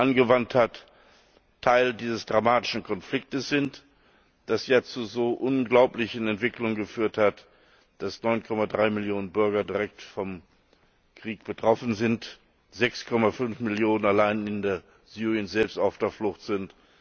angewandt hat, Teil dieses dramatischen Konflikts sind, der jetzt zu so unglaublichen Entwicklungen geführt hat, dass 9,3 Millionen Bürger direkt vom Krieg betroffen sind, 6,5 Millionen allein in Syrien selbst auf der Flucht sind.